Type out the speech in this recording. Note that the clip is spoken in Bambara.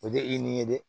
O tɛ i ni ye dɛ